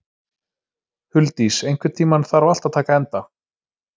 Huldís, einhvern tímann þarf allt að taka enda.